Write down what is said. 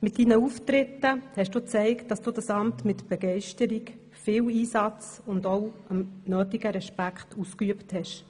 Mit deinen Auftritten hast du gezeigt, dass du dieses Amt mit Begeisterung, viel Einsatz und auch mit dem nötigen Respekt auszuüben wusstest.